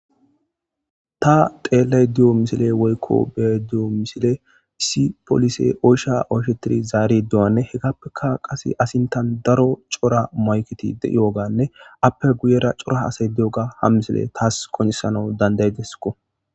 Ta xxeelliya misiley woyiko beyiza misiley issi poolisey oysha oyshettianne,oysha zaariya qasse eetappe cora mayiketi de7iyobanne izappe cora asati de7iyooga ha misiley taas qoncisesko.